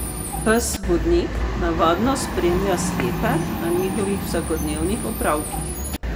Pes vodnik navadno spremlja slepe na njihovih vsakodnevnih opravkih.